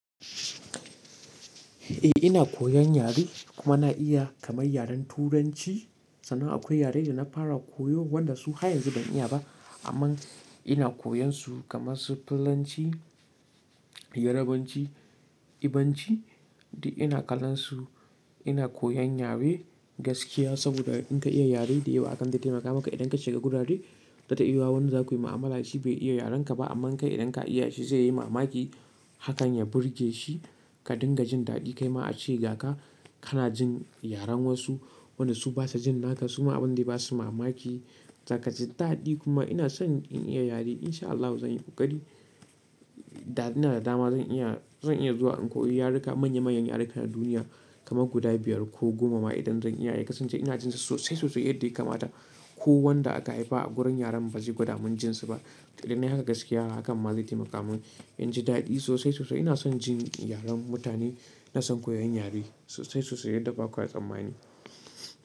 Eh ina koyan yare kuma na iya kamar yaren turanci. Sannan akwai yare da na fara koyo wanda su har yanzu ban iya ba amma ina koyan su kamar su Fulanci, Yarabanci, Igbonci duk ina kallon su. Ina koyan yare gaskiya saboda in ka iya yare dayawa hakan zai taimaka maka idan ka shiga gurare za ta yiwa wanda za ka yi mu'amala shi bai iya yaren ka ba amma kai idan ka iya shi zai yi mamaki hakan ya burge shi ka dinga jin daɗi. Kai ma a ce ga ka kana jin yaren wasu wanda su basa jin naka su ma abin zai basu mamaki za ka ji daɗi kuma ina son in iya yare insha Allahi zan yi ƙoƙari. Da ina da dama zan iya, zan iya zuwa in koyi yaruka manya manyan yarukan duniya kamar guda biyar ko goma ma idan zan iya. Kasance ina jin sosai sosai yadda ya kamata ko wanda aka haifa a gurin yaren ba zai gwada min jinsi ba. Idan nai haka gaskiya hakan ma zai taimaka min in ji daɗi sosai sosai. Ina son jin yaren mutane, ina son koyon yare sosai sosai yadda ba kwa tsammani.